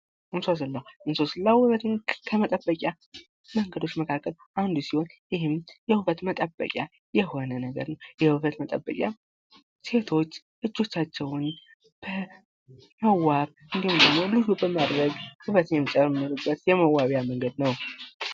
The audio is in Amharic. እንሶስላ:- እንሶስላ ዉበትን ከመጠበቂያ መንገዶች መካከል አንዱ ሲሆን ይህም የዉበት መጠበቂያ የሆነ ነገር ነዉ። የዉበት መጠበቂያ ሴቶች እጆቻቸዉን በመዋብ እንዲሁም ደግሞ ዉበትን የሚጨምርበት የመዋቢያ መንገድ ነዉ።